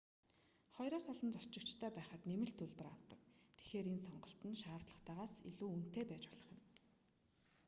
2-оос олон зорчигчтой байхад нэмэлт төлбөр авдаг тэгэхээр энэ сонголт нь шаардлагатайгаас илүү үнэтэй байж болох юм